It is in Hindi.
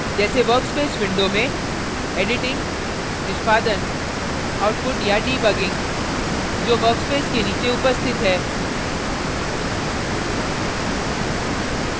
जैसे workspace window में editing निष्पादन output या debugging जो workspace के नीचे उपस्थित है